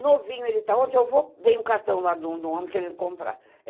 Novinho ele tá, onde eu vou, vem um cartão lá do homem querendo comprar.